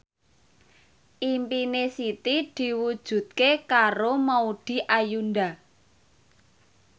impine Siti diwujudke karo Maudy Ayunda